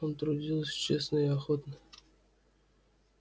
он трудился честно и охотно